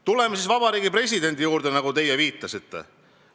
Tuleme siis Vabariigi Presidendi juurde, nagu te viitasite.